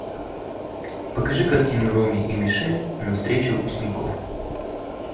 покажи картину роми и мишель на встрече выпускников